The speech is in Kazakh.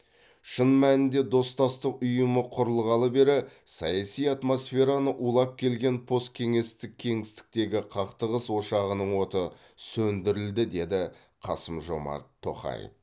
шын мәнінде достастық ұйымы құрылғалы бері саяси атмосфераны улап келген посткеңестік кеңістіктегі қақтығыс ошағының оты сөндірілді деді қасым жомарт тоқаев